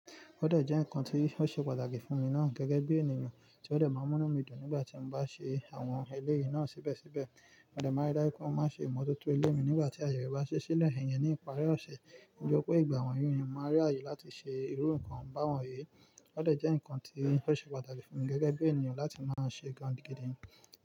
Ó dẹ̀ jẹ́ ǹnkan tí ó ṣe pàtàkì fún mi náà gẹ́gẹ́ bí ènìyàn, tí ó dẹ̀ máa n mú ínu mi dùn nígbà tí mo bá ṣe àwọn eléyìí náà síbẹ̀síbẹ̀. Mo dẹ̀ máa n rí dájú pé mo máa n ṣe imototo ilé mi nígbà tí àyè re bá ṣi sílẹ̀. Iyen ní ìparí ọ̀sẹ̀, ní tori pe ìgbà wọ̀nyí, ènìyàn máa n rí àyè láti ṣe irú ǹnkan bá wọn yìí. Ó dẹ̀ jẹ́ ǹnkan tí ó ṣe pàtàkì fún mi gẹ́gẹ́ bí ènìyàn láti máa ṣe gan-an gidi.